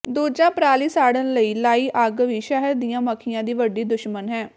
ਦੂਜਾ ਪਰਾਲੀ ਸਾੜਨ ਲਈ ਲਾਈ ਅੱਗ ਵੀ ਸ਼ਹਿਦ ਦੀਆਂ ਮੱਖੀਆਂ ਦੀ ਵੱਡੀ ਦੁਸ਼ਮਣ ਹੈ